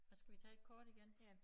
Hvad skal vi tage et kort igen?